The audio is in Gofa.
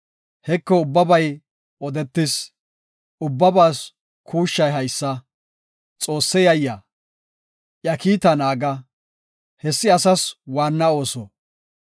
Heko ubbabay odetis; ubbabaas kuushshay haysa; Xoosse yayiya; iya kiitaa naaga; hessi asas waanna ooso.